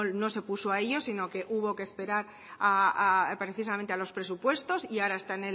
no se puso a ello sino que hubo que esperar precisamente a los presupuestos y ahora está